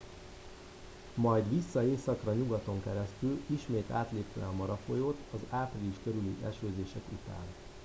majd vissza északra nyugaton keresztül ismét átlépve a mara folyót az április körüli esőzések után